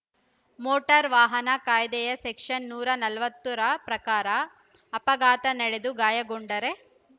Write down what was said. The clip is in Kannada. ಮೋಟಾರು ವಾಹನ ಕಾಯ್ದೆಯ ಸೆಕ್ಷನ್‌ ನೂರ ನಲವತ್ತು ರ ಪ್ರಕಾರ ಅಪಘಾತ ನಡೆದು ಗಾಯಗೊಂಡರೆ